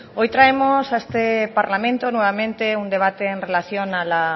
hoy traemos a este parlamento nuevamente un debate en relación a la